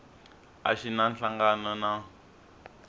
a xi na nhlangano na